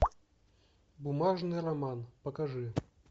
бумажный роман покажи